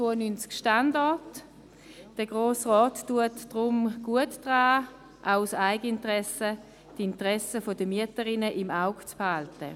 Deshalb ist es sinnvoll, wenn der Grosse Rat, auch aus Eigeninteresse, die Interessen der Mieterinnen im Auge behält.